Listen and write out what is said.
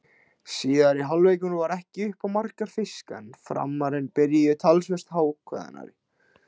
Síðari hálfleikurinn var ekki upp á marga fiska en Framararnir byrjuðu talsvert ákveðnari.